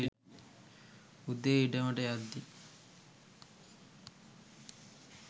උදේ ඉඩමට යද්දි